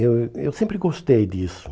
Eu eu sempre gostei disso.